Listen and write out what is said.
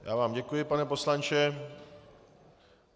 Já vám děkuji, pane poslanče.